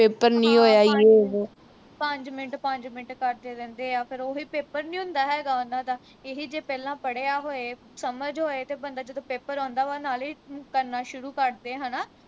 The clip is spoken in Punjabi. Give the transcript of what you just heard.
ਪੰਜ ਮਿੰਟ ਪੰਜ ਮਿੰਟ ਕਰਦੇ ਰਹਿੰਦੇ ਆ ਫਿਰ ਉਹੀ paper ਨੀ ਹੁੰਦਾ ਹੈਗਾ ਉਨ੍ਹਾਂ ਦਾ ਇਹੀ ਜੇ ਪਹਿਲਾਂ ਪੜਿਆ ਹੋਏ ਸਮਝ ਹੋਏ ਤੇ ਬੰਦਾ ਜਦੋਂ paper ਆਂਉਦਾ ਵਾ ਨਾਲੇ ਕਰਨਾ ਸ਼ੁਰੂ ਕਰ ਦੇ ਹਣਾ